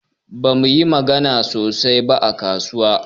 Bamu yi magana sosai ba a kasuwa.